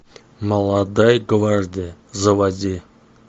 молодая гвардия заводи